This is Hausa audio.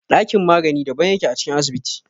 Ɗakin magani daban yake a cikin asibiti.